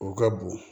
O ka bon